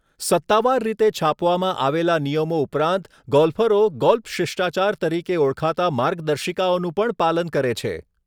સત્તાવાર રીતે છાપવામાં આવેલા નિયમો ઉપરાંત ગોલ્ફરો ગોલ્ફ શિષ્ટાચાર તરીકે ઓળખાતા માર્ગદર્શિકાઓનું પણ પાલન કરે છે.